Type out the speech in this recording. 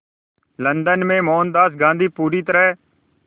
London में मोहनदास गांधी पूरी तरह